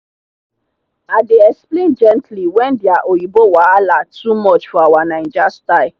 i dey explain gently when their oyinbo wahala too much for our naija style